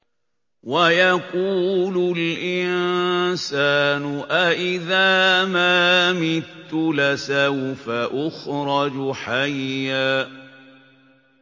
وَيَقُولُ الْإِنسَانُ أَإِذَا مَا مِتُّ لَسَوْفَ أُخْرَجُ حَيًّا